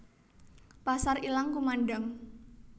Pasar ilang kumandhang